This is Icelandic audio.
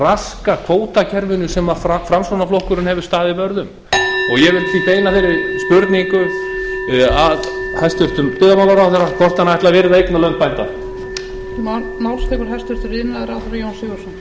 raska kvótakerfinu sem framsóknarflokkurinn hefur staðið vörð um ég vil því beina þeirri spurningu að hæstvirtur byggðamálaráðherra hvort hann ætli að virða eignarlönd bænda